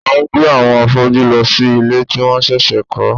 A ń gbé àwọn afọ́jú lọ sí ilé tí wọ́n ṣẹ̀ṣẹ̀ kọ́